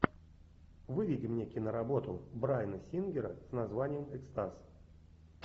выведи мне киноработу брайана сингера с названием экстаз